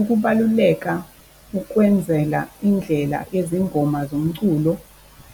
Ukubaluleka ukwenzela indlela yezingoma zomculo